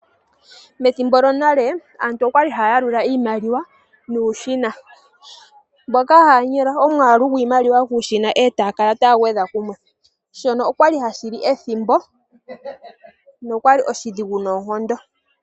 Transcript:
Methimbo lyonale aantu oya li haa yalula iimaliwa nuushina. Mpoka haya nyola omwaalu goshimaliwa kuushina e taya kala taya gwedha kumwe. Shino osha li hashi li ethimbo, nosha li oshidhigu noonkondo.